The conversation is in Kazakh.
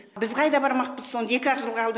біз қайда бармақпыз сонда екі ақ жыл қалды